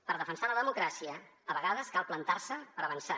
per defensar la democràcia a vegades cal plantar se per avançar